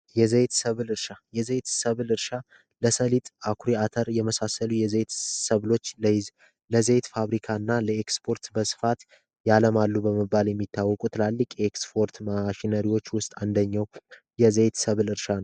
የዘይት ሰብል እርሻ የዘይት ሰበር እርሻ ለሰሊጥ አኩሪ አተር የመሳሰሉ ሰብሎች ለዘይት ፋብሪካና ለ ኤክስፐርት በስፋት ያመርታሉ ተብሎ የሚታወቁ ትላልቅ የኤክስፖርት ማሽኖች ውስጥ አንደኛው የዘይት ሰብል እርሻ ነው።